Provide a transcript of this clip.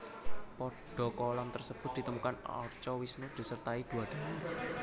Pada kolam tersebut ditemukan arca Wisnu disertai dua dewi